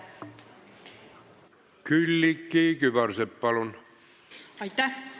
Külliki Kübarsepp, palun!